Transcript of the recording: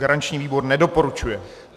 Garanční výbor nedoporučuje.